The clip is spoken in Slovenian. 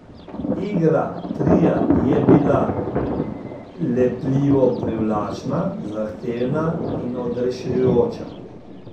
Igra tria je bila lepljivo privlačna, zahtevna in odrešujoča.